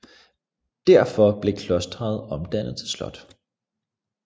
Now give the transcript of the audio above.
Derefter blev klosteret omdannet til slot